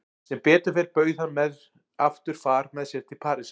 Sem betur fer bauð hann mér aftur far með sér til Parísar.